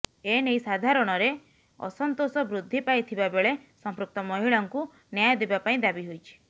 ଏ ନେଇ ସାଧାରଣରେ ଅସନ୍ତୋଷ ବୃଦ୍ଧି ପାଇଥିବାବେଳେ ସଂପୃକ୍ତ ମହିଳାଙ୍କୁ ନ୍ୟାୟ ଦେବା ପାଇଁ ଦାବି ହୋଇଛି